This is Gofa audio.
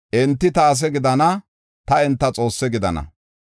Enti ta ase gidana; ta enta Xoosse gidana.